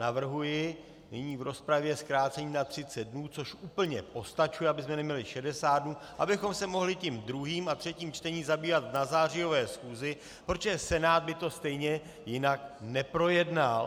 Navrhuji nyní v rozpravě zkrácení na 30 dnů, což úplně postačuje, abychom neměli 60 dnů, abychom se mohli tím druhým a třetím čtením zabývat na zářijové schůzi, protože Senát by to stejně jinak neprojednal.